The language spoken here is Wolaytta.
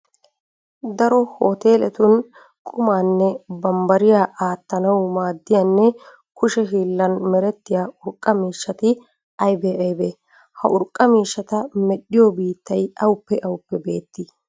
Daro hooteeletun qumaanne bambbariya aattanawu maaddiyanne kushe hiillan merettiya urqqa miishshati aybee aybee? Ha urqqa miishshata medhdhiyo biittay awuppe awuppe beettii?